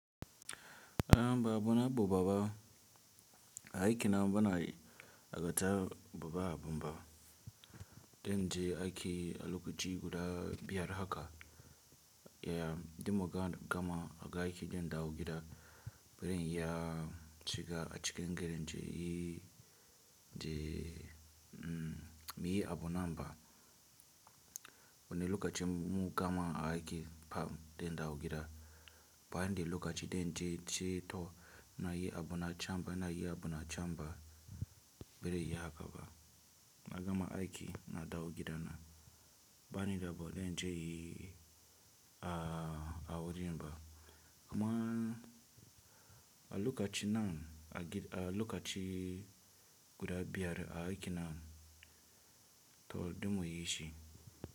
Bawo na bobaba aiki nan bana yi agata bababa bumba, zanje aiki a lokaci guda biyar haka, yeah, dimo gama aiki zan dawo gida zan yi, shiga a cikin gari naje nayi muyi abu nan ba wane lokaci mun gama aiki fam zan dawo gida, bani da lokaci zan je ceto nayi abuna chamba nayi abuna chamba bare iya haka ba. Na gama aiki na dawo gida na, bani da ba zan je inyi a wurin ba. Kuma a lokaci nan a lokacin, guda biyar aiki nan, to don mu yi shi.